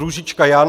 Růžička Jan